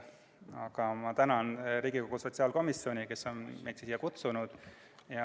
Aga ma tänan Riigikogu sotsiaalkomisjoni, kes on meid siia kutsunud.